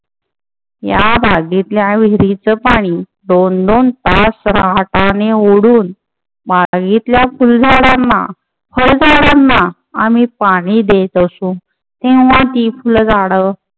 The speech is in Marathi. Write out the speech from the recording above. या बागेतल्या विहिरीचं पाणी दोन दोन तास रहाटाने ओढून बागेतल्या फुल झाडांना फळझाडांना आम्ही पाणी देत असो. तेव्हा ती फुल झाडं